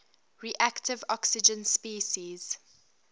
reactive oxygen species